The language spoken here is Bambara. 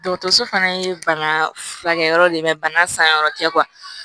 Dɔgɔtɔrɔso fana ye bana furakɛyɔrɔ de ye bana san yɔrɔ tɛ